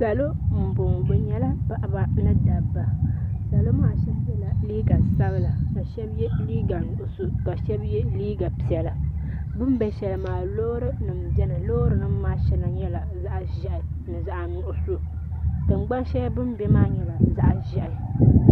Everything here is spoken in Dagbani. Salo n bɔŋɔ bi yɛla paɣaba ni dabba salo maa shɛba yiɛla liiga sabila ka shɛba yiɛ liiga nuɣiso ka shɛba yiɛ liiga piɛlla bini bɛ shɛli maa loori nima n bɛni loori ni nima maa shɛŋa yɛla zaɣi zɛhi ni zaɣi nuɣiso tiŋgbani shɛli bini bɛ maa nyɛla zaɣi zɛhi.